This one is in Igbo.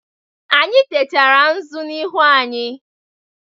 Anyị techara nzụ n'iru anyị.